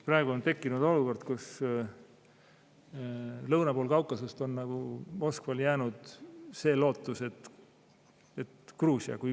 Praegu on tekkinud olukord, kus lõuna pool Kaukasust on Moskval jäänud loota Gruusiale.